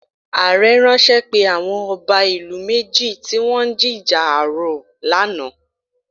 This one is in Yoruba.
Ààrẹ̀ ránṣẹ́ pe àwọn ọba ìlú méjì tí wọn ń jíjà ààrọ̀ lánàá